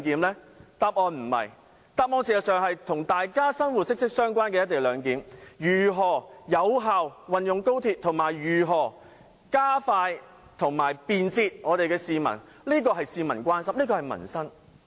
"一地兩檢"與市民的生活息息相關，如何有效運用高鐵和如何加快落實便捷的"一地兩檢"，是市民所關心的民生議題。